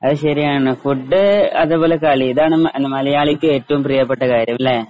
അയ് ശരിയാണ് ഫുഡ് അതുപോലെ കളി ഇതാണ് മലയാളിക്ക് ഏറ്റവും പ്രിയപ്പെട്ട കാര്യമല്ലേ?